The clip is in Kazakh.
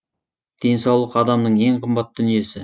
денсаулық адамның ең қымбат дүниесі